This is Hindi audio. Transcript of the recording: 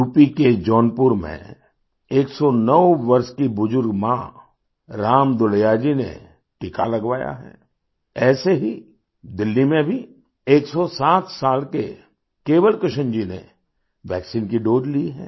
यूपी के जौनपुर में 109 वर्ष की बुजुर्ग माँ राम दुलैया जी ने टीका लगवाया है ऐसे ही दिल्ली में भी 107 साल के केवल कृष्ण जी नेवैक्सीन की दोसे ली है